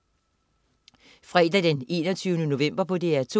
Fredag den 21. november - DR2: